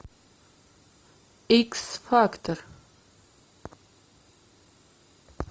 икс фактор